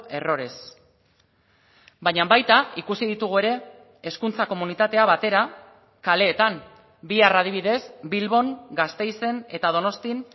errores baina baita ikusi ditugu ere hezkuntza komunitatea batera kaleetan bihar adibidez bilbon gasteizen eta donostian